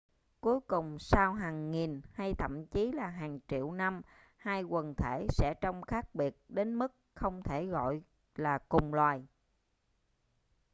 cuối cùng sau hàng nghìn hay thậm chí là hàng triệu năm hai quần thể sẽ trông khác biệt đến mức không thể gọi là cùng loài